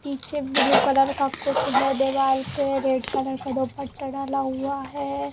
पीछे blue colour का red colour का दुपट्टा डला हुआ है।